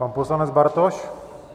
Pan poslanec Bartoš?